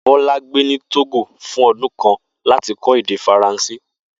Bó̩lá gbé ni Tógò fún o̩dún kan láti kó̩ èdè Faransé